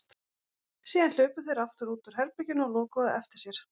Síðan hlupu þeir aftur út úr herberginu og lokuðu á eftir sér.